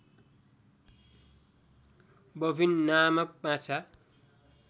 bowfin नामक माछा